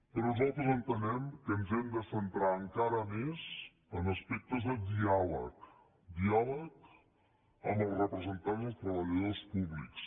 però nosaltres entenem que ens hem de centrar encara més en aspectes de diàleg diàleg amb els representants dels treballadors públics